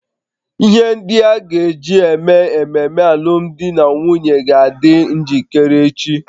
Ihe ndị a ga-eji eme ememe alụmdi na nwunye ga-adị njikere echi